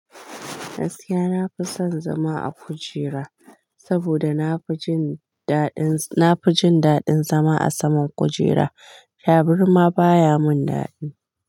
Gaskiya na fi son zama a kujera, saboda nafi jinda na fi jin daɗin zama a saman kujera. Tabarma baya mun daɗi.